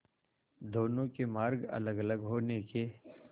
दोनों के मार्ग अलगअलग होने के